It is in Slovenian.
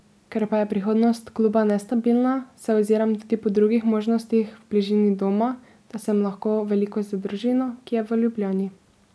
Ker pa je prihodnost kluba nestabilna, se oziram tudi po drugih možnostih v bližini doma, da sem lahko veliko z družino, ki je v Ljubljani.